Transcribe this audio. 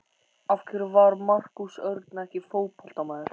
Af hverju var Markús Örn ekki fótboltamaður?